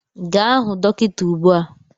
Gaa hụ dọkịta ugbu a!